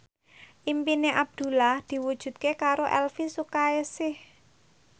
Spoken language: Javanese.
impine Abdullah diwujudke karo Elvi Sukaesih